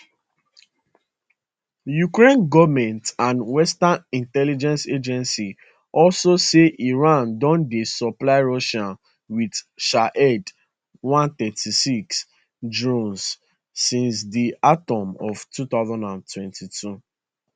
ukraine goment and western intelligence agencies also say iran don dey supply russia wit shahed one hundred and thirty six drones since di autumn of 2022